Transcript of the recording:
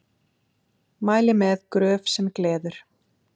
Mæli með Gröf sem gleður.